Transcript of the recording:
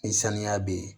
Ni sanuya bɛ ye